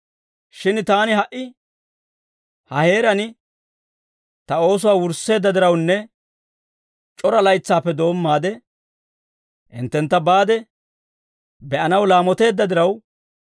Shin taani ha"i ha heeraan ta oosuwaa wursseedda dirawunne c'ora laytsaappe doommaade hinttentta baade be'anaw laamoteedda diraw